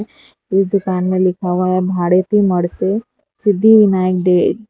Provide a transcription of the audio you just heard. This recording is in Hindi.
इस दुकान में लिखा हुआ है भाड़े थी मणशे सिद्धि विनायक डे --